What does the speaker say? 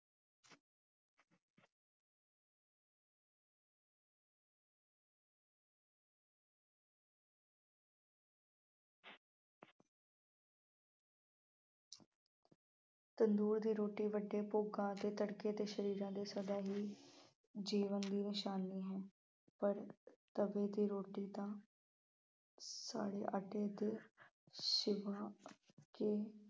ਤੰਦੂਰ ਦੀ ਰੋਟੀ ਵੱਡੇ ਭੋਗਾਂ ਅਤੇ ਕੜਕਦੇ ਸਰੀਰਾਂ ਦੇ ਸਦਾ ਹੀ ਜੀਵਨ ਦੀ ਨਿਸ਼ਾਨੀ ਹੈ, ਪਰ ਤਵੇ ਦੀ ਰੋਟੀ ਤਾਂ ਸਾੜੇ ਆਟੇ ਚ ਸਿਵਾ ਕੇ